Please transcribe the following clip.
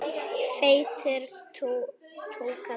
Feitur túkall.